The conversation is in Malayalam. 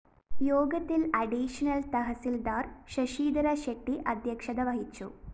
യോഗത്തില്‍ അഡീഷണൽ തഹസില്‍ദാര്‍ ശശിധര ഷെട്ടി അധ്യക്ഷത വഹിച്ചു